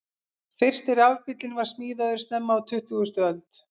Fyrsti rafbíllinn var smíðaður snemma á tuttugustu öld.